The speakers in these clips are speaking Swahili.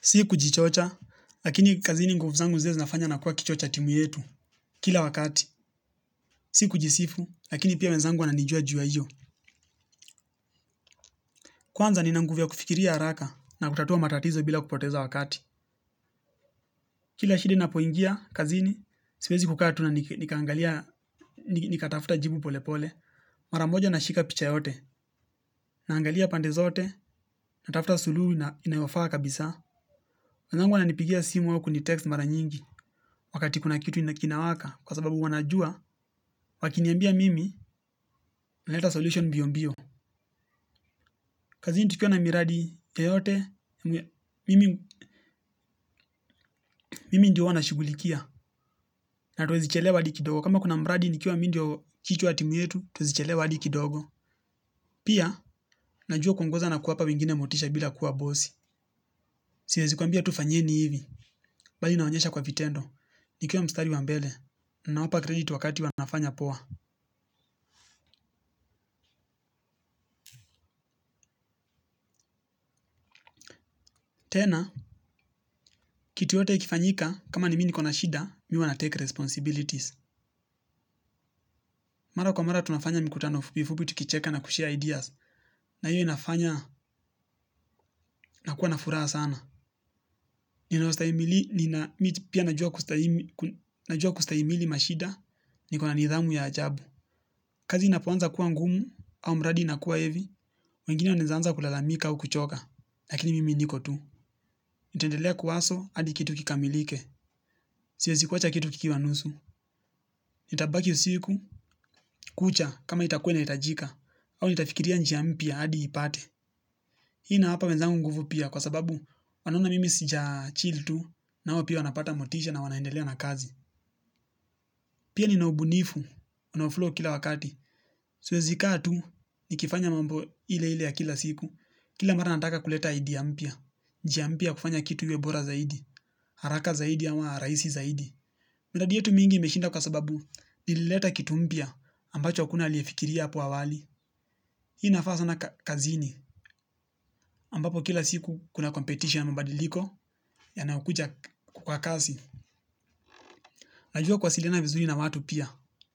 Si kujichocha, lakini kazini nguvu zangu zile zinafanya nakuwa kichwa cha timu yetu. Kila wakati, si kujisifu, lakini pia wenzangu wananijua ju ya iyo. Kwanza nina nguvu ya kufikiria haraka na kutatua matatizo bila kupoteza wakati. Kila shida inapoingia kazini, siwezi kukaa tu na nikaangalia, nikatafuta jibu polepole. Mara moja nashika picha yote, naangalia pande zote, natafuta suluhu inayofaa kabisa. Wenzangu wananipigia simu au kunitext mara nyingi. Wakati kuna kitu kinawaka, kwa sababu wanajua, wakiniambia mimi naleta solution mbio mbio. Kazini tukiwa na miradi yeyote, mimi ndio huwa nashughulikia, na hatuwezi chelewa adi kidogo. Kama kuna mradi, nikiwa mi ndio kichwa ya timu yetu, hatuwezi chelewa adi kidogo. Pia, najua kuongoza na kuwapa wengine motisha bila kuwa bosi. Siwezi kuambia tu fanyeni hivi, bali naonyesha kwa vitendo. Nikiwa mstari wa mbele, na nawapa krediti wakati wanafanya poa. Tena, kitu yoyote ikifanyika, kama ni mi nikona shida, mimi huwa natake responsibilities. Mara kwa mara tunafanya mikutano fupi fupi tukicheka na kushare ideas na hiyo inafanya nakuwa na furaha sana. Nina ustahimili, nina, mi pia najua kustahimili mashida niko na nidhamu ya ajabu. Kazi inapoanza kuwa ngumu, au mradi inakuwa heavy. Wengine wanaeza anza kulalamika au kuchoka, lakini mimi niko tu. Nitaendelea kuhustle, hadi kitu kikamilike, siwezi kuwacha kitu kikiwa nusu. Nitabaki usiku, kucha kama itakua inaitajika au nitafikiria njia mpya hadi ipate. Hii inawapa wenzangu nguvu pia kwa sababu wanaona mimi sijachill tu. Nao pia wanapata motisha na wanaendelea na kazi. Pia nina ubunifu, unaoflow kila wakati. Siwezi kaa tu, nikifanya mambo ile ile ya kila siku. Kila mara nataka kuleta idea mpya. Njia mpya ya kufanya kitu iwe bora zaidi. Haraka zaidi ama raisi zaidi miradi yetu mingi imeshinda kwa sababu ilileta kitu mpya ambacho hakuna aliyefikiria apo awali hii inafaa sana kazini ambapo kila siku kuna competition mabadiliko yanayokuja kwa kasi. Najua kuwasiliana vizuri na watu pia,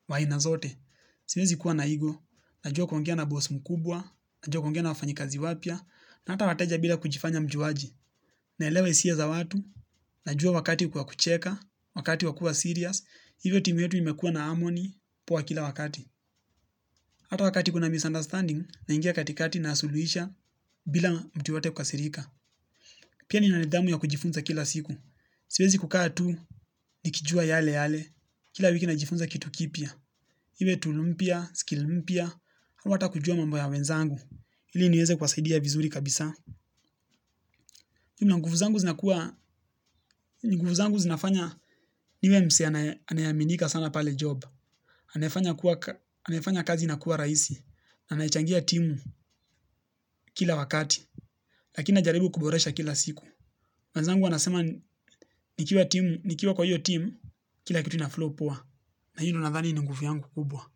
wa aina zote siwezi kuwa na ego, najua kuongea na boss mkubwa, najua kuongea na wafanyikazi wapya, na hata wateja bila kujifanya mjuaji, naelewa hisia za watu, najua wakati kwa kucheka wakati wa kua serious hivyo timu yetu imekua na harmony poa kila wakati. Hata wakati kuna misunderstanding, naingia katikati na nasuluisha bila mtu yoyote kukasirika. Pia nina nidhamu ya kujifunza kila siku. Siwezi kukaa tu nikijua yale yale. Kila wiki najifunza kitu kipya. Iwe tool mpya, skill mpya, au hata kujua mambo ya wenzangu. Ili nieze kuwasaidia vizuri kabisa. Jumla nguvu zangu zinafanya niwe mse anayeaminika sana pale job. Anayefanya kazi inakuwa raisi. Anayechangia timu kila wakati. Lakina najaribu kuboresha kila siku. Wenzangu wanasema nikiwa kwa hiyo team kila kitu inaflow poa na hiyo ndio nadhani ni nguvu yangu kubwa.